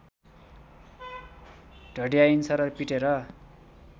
ढड्याइन्छ र पिटेर